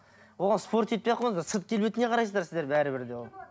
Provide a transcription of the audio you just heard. оған спорить етпей ақ қойыңыздар сырт келбетіне қарайсыздар сіздер бәрібір де ол